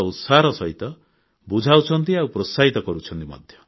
ବଡ଼ ଉତ୍ସାହର ସହିତ ବୁଝାଉଛନ୍ତି ଆଉ ପ୍ରୋତ୍ସାହିତ କରୁଛନ୍ତି